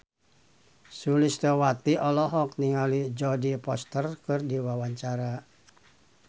Sulistyowati olohok ningali Jodie Foster keur diwawancara